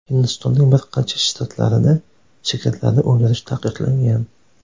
Hindistonning bir qancha shtatlarida sigirlarni o‘ldirish taqiqlangan.